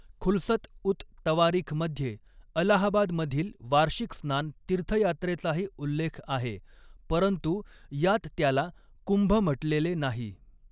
खुलसत उत तवारीखमध्ये अलाहाबादमधील वार्षिक स्नान तीर्थयात्रेचाही उल्लेख आहे, परंतु यात त्याला कुंभ म्हटलेले नाही.